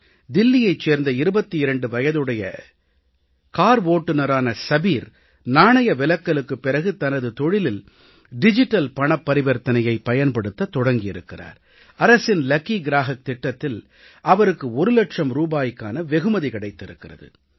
தில்லியைச் சேர்ந்த 22 வயதுடைய கார் ஓட்டுநரான சபீர் பண மதிப்பிழப்பிற்கு பிறகு தனது தொழிலில் டிஜிட்டல் பரிவர்த்தனையைப் பயன்படுத்தத் தொடங்கி இருக்கிறார் அரசின் அதிர்ஷ்ட வாடிக்கையாளர் திட்டத்தில் அவருக்கு ஒரு லட்சம் ரூபாய்க்கான வெகுமதி கிடைத்திருக்கிறது